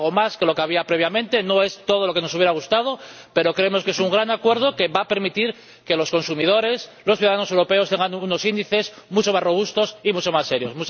Es algo más de lo que había previamente, no es todo lo que nos hubiera gustado, pero creemos que es un gran acuerdo que va a permitir que los consumidores, los ciudadanos europeos, cuenten con unos índices mucho más robustos y mucho más serios.